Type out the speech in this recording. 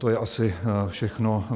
To je asi všechno.